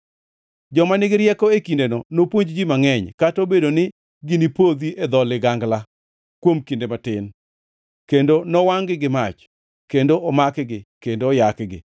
“Joma nigi rieko e kindeno nopuonj ji mangʼeny, kata obedo ni ginipodhi e dho ligangla kuom kinde matin; kendo nowangʼ-gi gi mach, kendo omakgi, kendo oyakgi,